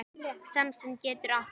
Samsemd getur átt við